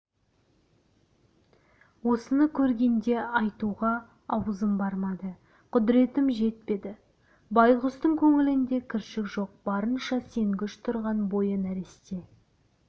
осыны көргенде айтуға аузым бармады құдіретім жетпеді байғұстың көңілінде кіршік жоқ барынша сенгіш тұрған бойы нәресте